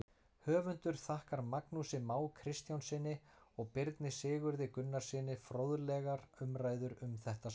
Höfundur þakkar Magnúsi Má Kristjánssyni og Birni Sigurði Gunnarssyni fróðlegar umræður um þetta svar.